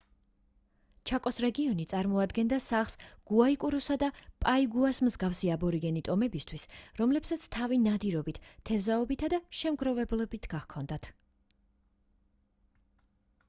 ჩაკოს რეგიონი წარმოადგენდა სახლს გუაიკურუსა და პაიგუას მსგავსი აბორიგენი ტომებისთვის რომლებსაც თავი ნადირობით თევზაობითა და შემგროვებლობით გაჰქონდათ